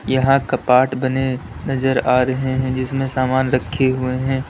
यहां कपाट बने नजर आ रहे है जिसमे सामान रखे हुए हैं।